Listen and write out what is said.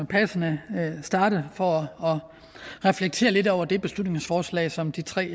passende starte for at reflektere lidt over det beslutningsforslag som de tre